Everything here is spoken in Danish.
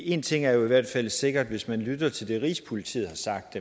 en ting er i hvert fald sikkert hvis man lytter til det rigspolitiet har sagt